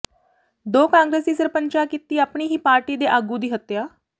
ਦੋ ਕਾਂਗਰਸੀ ਸਰਪੰਚਾਂ ਕੀਤੀ ਆਪਣੀ ਹੀ ਪਾਰਟੀ ਦੇ ਆਗੂ ਦੀ ਹੱਤਿਆ